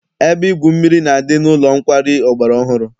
Ebe igwu mmiri na-adị n'ụlọ nkwari ọgbara ọhụrụ.